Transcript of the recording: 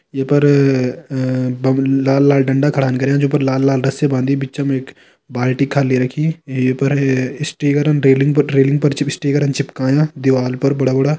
ये पर अ बगल लाल-लाल डंडा खढ़ान कर्यां जो पर लाल लाल रस्सी बांधी बिचम एक बाल्टी खाली रखीं ई पर ऐ स्टीकरन रैलिंग पर रैलिंग जब स्टीकर चिपकायां दीवाल पर बड़ा बड़ा।